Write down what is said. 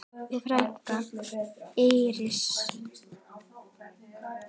Þín frænka, Íris.